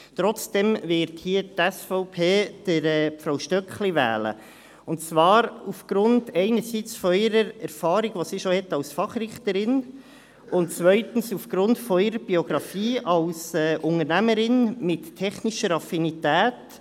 Trotzdem wird die SVP hier Frau Stöckli wählen, und zwar erstens aufgrund ihrer Erfahrung, die sie als Fachrichterin schon hat, und zweitens aufgrund ihrer Biografie als Unternehmerin mit technischer Affinität.